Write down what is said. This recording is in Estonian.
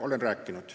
Olen rääkinud.